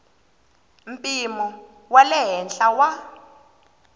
mpimo wa le henhla wa